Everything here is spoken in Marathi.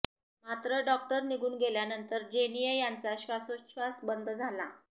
मात्र डॉक्टर निघून गेल्यानंतर जेनिया यांचा श्वासोच्छ्वास बंद झाला